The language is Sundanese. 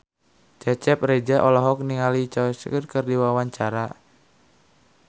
Cecep Reza olohok ningali Choi Siwon keur diwawancara